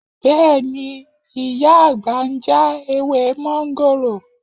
Bẹ́ẹ̀ ni, ìyá àgbà ń já ewé mọ́ńgòrò